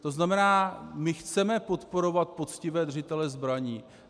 To znamená, my chceme podporovat poctivé držitele zbraní.